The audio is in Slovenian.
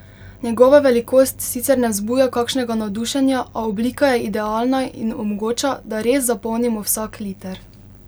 Njegova velikost sicer ne vzbuja kakšnega navdušenja, a oblika je idealna in omogoča, da res zapolnimo vsak liter.